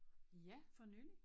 Ja for nylig